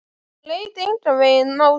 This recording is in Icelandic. Hún leit engan veginn á sig.